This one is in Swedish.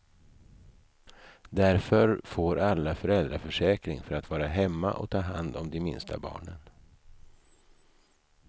Därför får alla föräldraförsäkring för att vara hemma och ta hand om de minsta barnen.